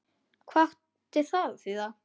Hvað átti það að þýða?